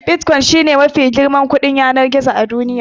Bitcoin shi ne mafi girman kuɗin yanar gizo a duniya.